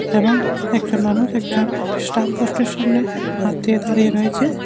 এবং একজন মানুষ একজন স্ট্যাম পোস্ট -এর সামনে হাত দিয়ে দাঁড়িয়ে রয়েছে।